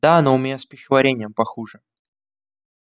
да но у меня с пищеварением похуже